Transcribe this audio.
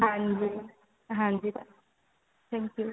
ਹਾਂਜੀ ਹਾਂਜੀ ਧੰਨਵਾਦ thank you